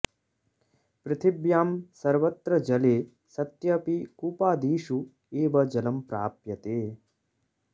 पृथिव्यां सर्वत्र जले सत्यपि कूपादिषु एव जलं प्राप्यते